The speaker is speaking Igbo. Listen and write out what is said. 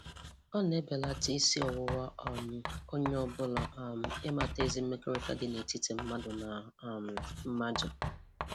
Ọ na-ebelata isi ọwụwa um onye ọbụla um n’ịmata ezi mmekọrịta n’ịmata ezi mmekọrịta dị n’etiti mmadụ na um mmadụ.